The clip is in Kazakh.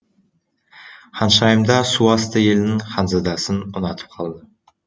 ханшайымда су асты елінің ханзадасын ұнатып қалды